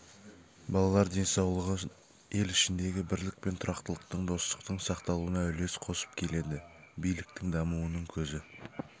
балалар денсаулығын ел ішіндегі бірлік пен тұрақтылықтың достықтың сақталуына үлес қосып келеді биліктің дамуының көзі